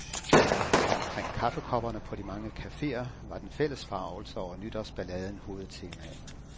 Omkring kaffekopperne på de mange cafeer var den fælles forargelse over nytårsballaden hovedtemaet.